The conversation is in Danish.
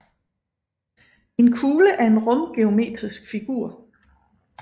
En kugle er en rumgeometrisk figur